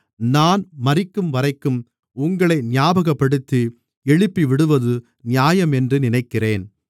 நான் மரிக்கும்வரைக்கும் உங்களை ஞாபகப்படுத்தி எழுப்பிவிடுவது நியாயம் என்று நினைக்கிறேன்